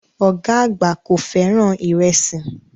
Ọ̀gá àgbà kò fẹ́ràn ìrẹsì